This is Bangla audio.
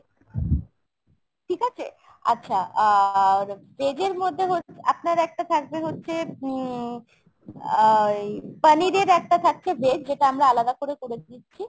ঠিক আছে ? আচ্ছা আর veg এর মধ্যে হচ্ছে আপনার একটা থাকবে হচ্ছে উম আহ ওই পনিরের একটা থাকছে veg যেটা আমরা আলাদা করে করে দিচ্ছি।